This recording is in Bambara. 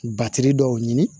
dɔw ɲini